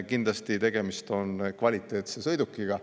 Kindlasti tegemist on kvaliteetse sõidukiga.